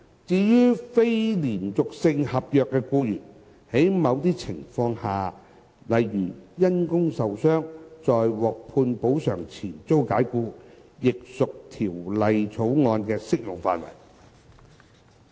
至於非連續性合約僱員，在某些情況下，例如因工受傷在獲判補償前遭解僱，亦屬《條例草案》的適用範圍。